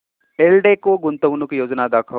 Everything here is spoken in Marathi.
एल्डेको गुंतवणूक योजना दाखव